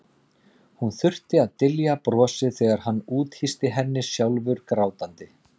Hún þurfti að dylja brosið þegar hann úthýsti henni, sjálfur grátandi.